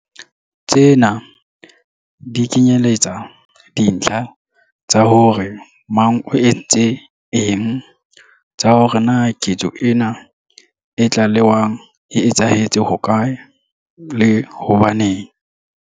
Tsena di kenyeletsa dintlha tsa hore mang o entse eng, tsa hore na ketso ena e tlalewang e etsahetse hokae, le hobaneng.